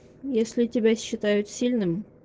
если тебя считают сильным